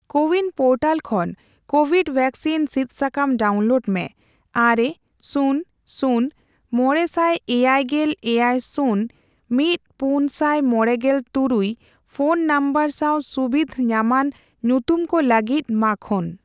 CoWIN portal ᱠᱷᱚᱱ Covid vaccine ᱥᱤᱫ ᱥᱟᱠᱟᱢ ᱰᱟᱣᱩᱱᱞᱳᱰ ᱢᱮ ᱟᱨᱮ, ᱥᱩᱱᱱᱽ, ᱥᱩᱱᱱᱽ, ᱢᱚᱲᱮ ᱥᱟᱭ ᱮᱭᱟᱭᱜᱮᱞ ᱮᱭᱟᱭ, ᱥᱩᱱᱱᱽ, ᱢᱤᱫ ,ᱯᱩᱱ ᱥᱟᱭ ᱢᱚᱲᱮᱜᱮᱞ ᱛᱩᱨᱩᱭ, ᱯᱷᱚᱱ ᱱᱚᱢᱵᱚᱨ ᱥᱟᱣ ᱥᱩᱵᱤᱫᱷ ᱧᱟᱢᱟᱱ ᱧᱩᱛᱩᱢ ᱠᱚ ᱞᱟᱹᱜᱤᱫ ᱢᱟᱠᱷᱳᱱ ᱾